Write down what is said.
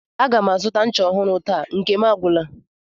A ga m azụta ncha ọhụrụ taa, nke m agwụla